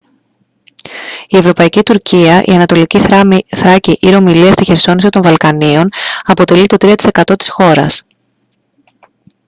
η ευρωπαϊκή τουρκία η ανατολική θράκη ή ρωμυλία στη χερσόνησο των βαλκανίων αποτελεί το 3 τοις εκατό της χώρας